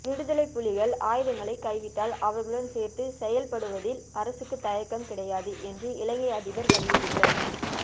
விடுதலைப்புலிகள் ஆயுதங்களை கைவிட்டால் அவர்களுடன் சேர்ந்து செயல் படுவதில் அரசுக்கு தயக்கம் கிடையாது என்று இலங்கை அதிபர் வலியுறுத்தல்